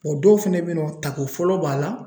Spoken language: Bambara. dɔw fɛnɛ be yen nɔ tako fɔlɔ b'a la